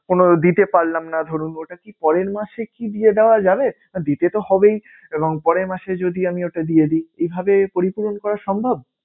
কোনো দিতে পারলাম না ধরুন ওটা কি পরের মাসে কি দিয়ে দেওয়া যাবে? আহ দিতে তো হবেই এবং পরের মাসে যদি আমি ওটা দিয়ে দিই এভাবে পরিপূরণ করা সম্ভব?